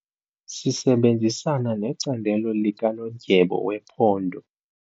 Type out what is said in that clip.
Sisebenzisana necandelo likanondyebo wephondo.